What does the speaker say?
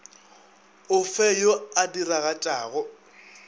o fe yo a diragatšago